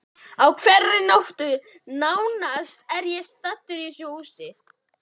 Á hverri nóttu nánast er ég staddur í þessu húsi.